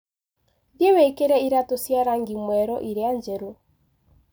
Thiĩ wĩkĩre iratũ cia rangi mwerũ iria njerũ.